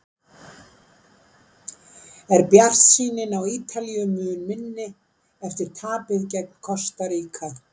Er bjartsýnin á Ítalíu mun minni eftir tapið gegn Kosta Ríka?